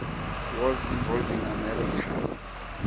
wars involving america